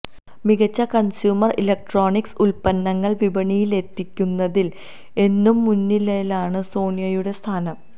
മികച്ച consumer electronics ഉല്പന്നങ്ങള് വിപണിയിലെത്തിക്കുന്നതില് എന്നും മുന്നിരയിലാണ് സോണിയുടെ സ്ഥാനം